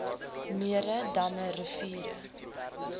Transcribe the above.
mere damme riviere